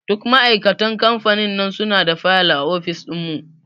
Duk ma'aikatan kamfanin nan suna da fayil a ofis ɗin mu.